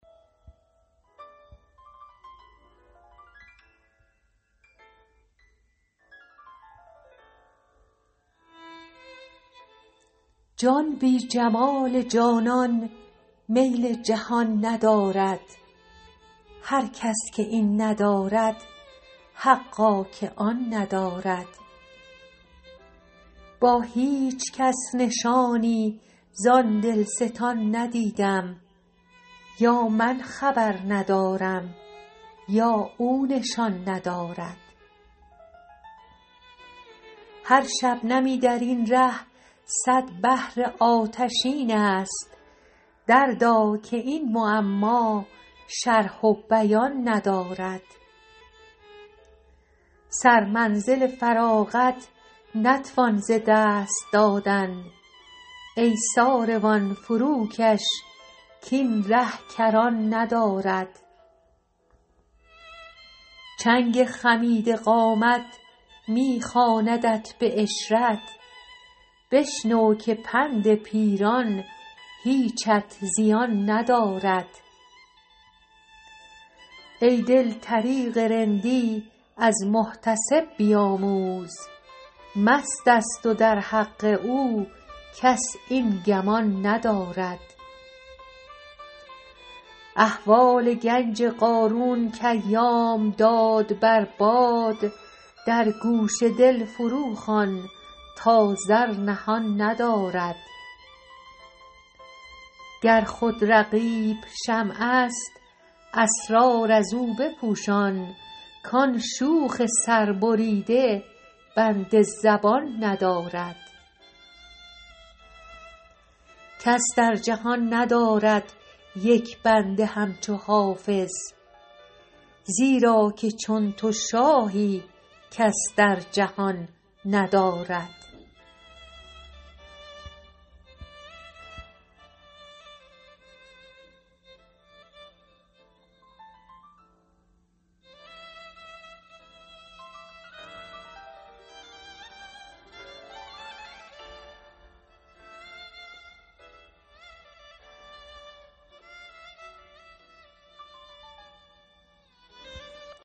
جان بی جمال جانان میل جهان ندارد هر کس که این ندارد حقا که آن ندارد با هیچ کس نشانی زان دلستان ندیدم یا من خبر ندارم یا او نشان ندارد هر شبنمی در این ره صد بحر آتشین است دردا که این معما شرح و بیان ندارد سرمنزل فراغت نتوان ز دست دادن ای ساروان فروکش کاین ره کران ندارد چنگ خمیده قامت می خواندت به عشرت بشنو که پند پیران هیچت زیان ندارد ای دل طریق رندی از محتسب بیاموز مست است و در حق او کس این گمان ندارد احوال گنج قارون کایام داد بر باد در گوش دل فروخوان تا زر نهان ندارد گر خود رقیب شمع است اسرار از او بپوشان کان شوخ سربریده بند زبان ندارد کس در جهان ندارد یک بنده همچو حافظ زیرا که چون تو شاهی کس در جهان ندارد